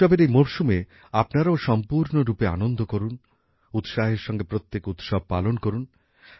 উৎসবের এই মরসুমে আপনারাও দারুণ আনন্দ করুন উৎসাহের সঙ্গে প্রত্যেক উৎসব পালন করুন